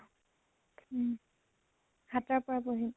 উম সাত্টাৰ পৰা পঢ়িম।